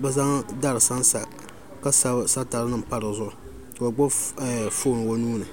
bi zaŋ dari sansa ka sabi satari nim panpa dizuɣu ka o gbubi foon o nuuni